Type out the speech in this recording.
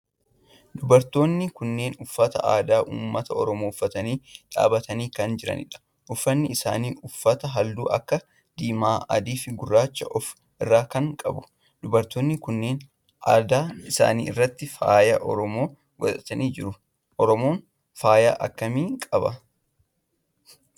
dubartoonni kunneen uffata aadaa ummata oromoo uffatanii dhaabbatanii kan jiranidha. uffanni isaan uffatan halluu akka diimaa, adii fi guraacha of irraa kan qabudha. dubartooni kunneen adda isaanii irratti faaya oromoo godhatanii jiru. Oromoon faaya akkamii qaba?